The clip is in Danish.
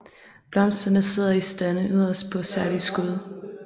Blomsterne sidder i stande yderst på særlige skud